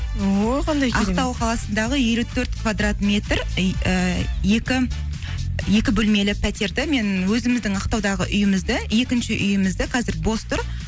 о қандай ақтау қаласындағы елу төрт квадрат метр ііі екі бөлмелі пәтерді мен өзіміздің ақтаудағы үйімізді екінші үйімізді қазір бос тұр